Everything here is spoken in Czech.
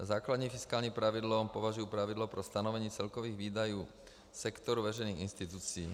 Za základní fiskální pravidlo považuji pravidlo pro stanovení celkových výdajů sektoru veřejných institucí.